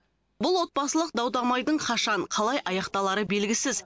бұл отбасылық дау дамайдың қашан қалай аяқталары белгісіз